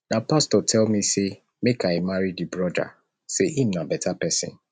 na pastor tell me sey make i marry di broda sey him na beta pesin